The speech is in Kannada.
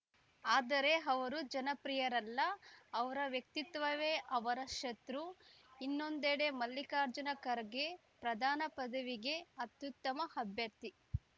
ಆದರೆ ಅವರು ಜನಪ್ರಿಯರಲ್ಲ ಅವರ ವ್ಯಕ್ತಿತ್ವವೇ ಅವರ ಶತ್ರು ಇನ್ನೊಂದೆಡೆ ಮಲ್ಲಿಕಾರ್ಜುನ ಖರ್ಗೆ ಪ್ರಧಾನ ಪದವಿಗೆ ಅತ್ಯುತ್ತಮ ಅಭ್ಯರ್ಥಿ